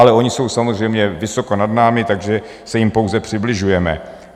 Ale oni jsou samozřejmě vysoko nad námi, takže se jim pouze přibližujeme.